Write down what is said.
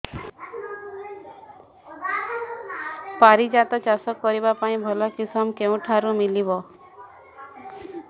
ପାରିଜାତ ଚାଷ କରିବା ପାଇଁ ଭଲ କିଶମ କେଉଁଠାରୁ ମିଳିବ